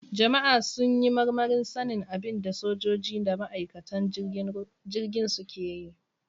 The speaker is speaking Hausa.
Jama'a sun yi marmarin sanin abin da sojoji da ma'aikatan jirgin suke yi.